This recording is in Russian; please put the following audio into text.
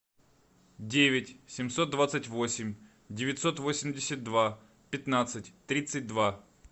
девять семьсот двадцать восемь девятьсот восемьдесят два пятнадцать тридцать два